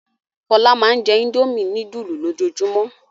Fọlá máa ń jẹ́ Indomie núdúlù lójoojúmọ́.